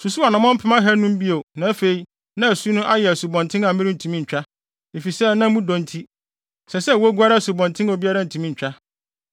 Osusuw anammɔn apem ahannum (500,000) bio na afei na asu no ayɛ asubɔnten a merentumi ntwa, efisɛ na mu dɔ nti, ɛsɛ sɛ woguare asubɔnten a obiara ntumi ntwa.